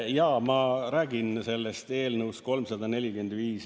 Jaa, ma räägin sellest eelnõust 345.